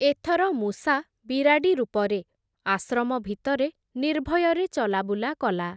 ଏଥର ମୂଷା ବିରାଡ଼ି ରୂପରେ, ଆଶ୍ରମ ଭିତରେ ନିର୍ଭୟରେ ଚଲାବୁଲା କଲା ।